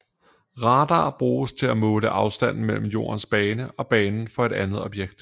Radar bruges til at måle afstanden mellem Jordens bane og banen for et andet objekt